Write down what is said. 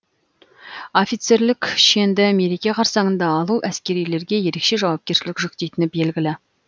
офицерлік шенді мереке қарсаңында алу әскерилерге ерекше жауапкершілік жүктейтіні белгілі